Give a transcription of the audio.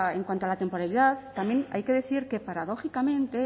en cuanto a la temporalidad también hay que decir que paradójicamente